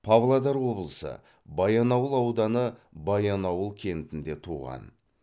павлодар облысы баянауыл ауданы баянауыл кентінде туған